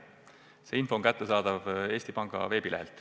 See info on kättesaadav Eesti Panga veebilehel.